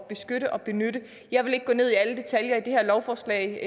beskytte og benytte jeg vil ikke gå ned i alle detaljer i det her lovforslag